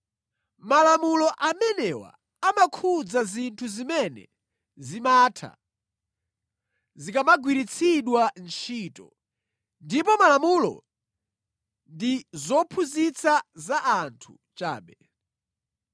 Malamulo amenewa amakhudza zinthu zimene zimatha zikamagwiritsidwa ntchito, ndipo malamulo ndi zophunzitsa za anthu chabe.